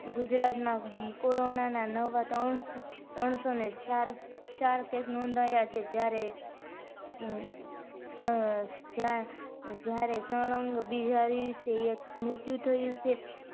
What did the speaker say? ગુજરાતમાં corona ના નવ ત્રણ સો ને ચાર case નોંધાયા છે. જ્યારે જયારે સળગ બીજા દિવસેય એક મૃત્યુ થયું છે